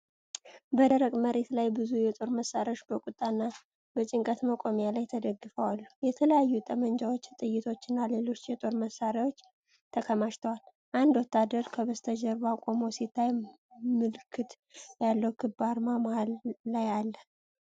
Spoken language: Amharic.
በደረቅ መሬት ላይ ብዙ የጦር መሳሪያዎች በቁጣ እና በጭንቀት መቆሚያ ላይ ተደግፈው አሉ። የተለያዩ ጠመንጃዎች፣ ጥይቶችና ሌሎች የጦር መሳሪያዎች ተከማችተዋል። አንድ ወታደር ከበስተጀርባ ቆሞ ሲታይ፣ ምልክት ያለበት ክብ አርማ መሃል ላይ አለ።